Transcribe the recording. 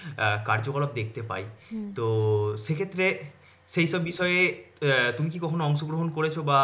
কার্যকলাপ দেখত পাই তো সেক্ষেত্রে সেই বিষয়ে উহ তুমি কি কখনও অংশগ্রহণ করেছো বা